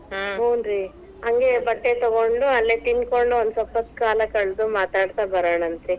ಹಂಗೆ ಬಟ್ಟೆ ತಗೊಂಡು, ಅಲ್ಲೇ ತಿನ್ಕೋಂಡು, ಒಂದ ಸ್ವಲ್ಪ ಹೊತ್ತ ಕಾಲಾ ಕಳೆದು ಮಾತಾಡ್ತಾ ಬರೋಣಂತ್ರಿ.